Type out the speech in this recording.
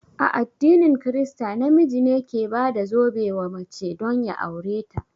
A addinin krista, na miji ne ke bada zobe wa mace don ya aure ta